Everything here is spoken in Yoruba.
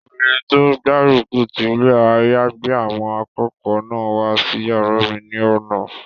Obìnrin tó gbárùkù ti ilé àyágbé àwọn akẹ́kọ̀ọ́ náà wá sí yàrá mi ní àná